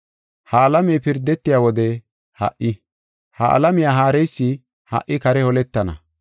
Ha alamey pirdetiya wodey ha77i; ha alamiya haareysi ha77i kare holetana.